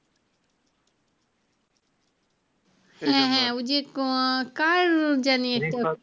হ্যাঁ হ্যাঁ ওই যে কার জানি একটা